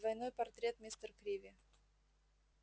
двойной портрет мистер криви